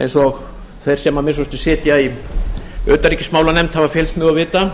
eins og þeir sem að minnsta kosti sitja í utanríkismálanefnd hafa fylgst með og vita